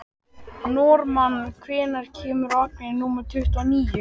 Normann, hvenær kemur vagn númer tuttugu og níu?